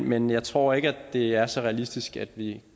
men jeg tror ikke det er så realistisk at vi